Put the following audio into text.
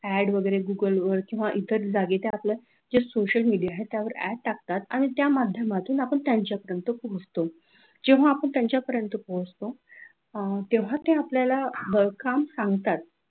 add वगैरे google वर किंवा त्या इतर जागी त्या social media आहेत त्यावर add टाकतात आणि त्या माध्यमातून आपण त्यांच्यापर्यंत पोचतो जेव्हा आपण त्यांच्यापर्यंत पोचतो तेव्हा ते आपल्याला काम सांगतात